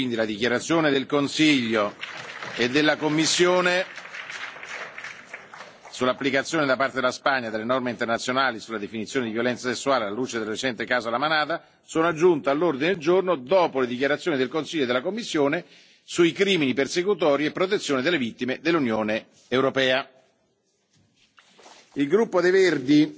Le dichiarazioni del Consiglio e della Commissione sull'applicazione da parte della Spagna delle norme internazionali sulla definizione di violenza sessuale alla luce del recente caso La Manada sono aggiunte all'ordine del giorno dopo le dichiarazioni del Consiglio e della Commissione sui crimini persecutori e la protezione delle vittime nell'UE. Il gruppo Verde